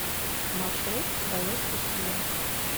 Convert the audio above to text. маршрут твоя стихия